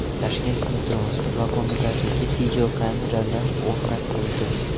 Toshkent metrosi vagonlariga videokameralar o‘rnatildi.